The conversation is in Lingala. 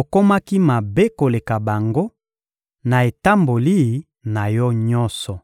okomaki mabe koleka bango, na etamboli na yo nyonso.